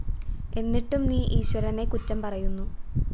എന്നിട്ടും നീ ഈശ്വരനെ കുറ്റം പറയുന്നു